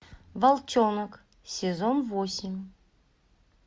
волчонок сезон восемь